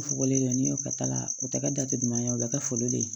U fugulen don n'i y'o kɛ ta la o tɛ kɛ jatemin'a ye o bɛ kɛ foli le ye